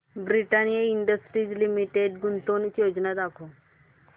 Britannia Industries Limited गुंतवणूक योजना दाखव